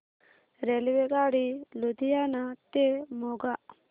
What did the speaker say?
रेल्वेगाडी लुधियाना ते मोगा